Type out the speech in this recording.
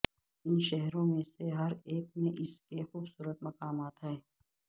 ان شہروں میں سے ہر ایک میں اس کے خوبصورت مقامات ہیں